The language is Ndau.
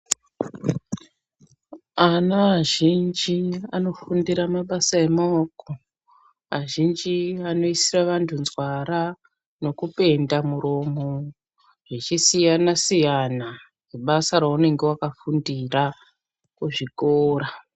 Ana azhinji anofundira mabasa emaoko, azhinji anoisa vandu nzwara, nokupenda muromo zvichisiyana siyana nebasa raunenge wakafundira kuzvikora.